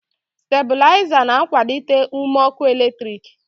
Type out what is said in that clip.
stabilizers na-akwalite ume ọkụ eletrik